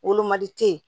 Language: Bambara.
Wolomali te yen